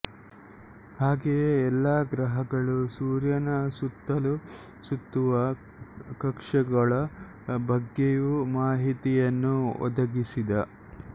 ಹಾಗೆಯೇ ಎಲ್ಲ ಗ್ರಹಗಳೂ ಸೂರ್ಯನ ಸುತ್ತಲೂ ಸುತ್ತುವ ಕಕ್ಷೆಗಳ ಬಗ್ಗೆಯೂ ಮಾಹಿತಿಯನ್ನು ಒದಗಿಸಿದ